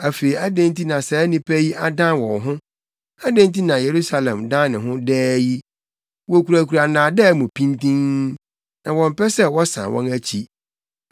Afei adɛn nti na saa nnipa yi adan wɔn ho? Adɛn nti na Yerusalem dan ne ho daa yi? Wokura nnaadaa mu pintinn; na wɔmpɛ sɛ wɔsan wɔn akyi.